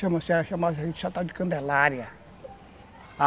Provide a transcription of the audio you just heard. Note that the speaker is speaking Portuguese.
Chama-se a Candelária.